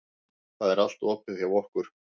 Það er allt opið hjá okkur.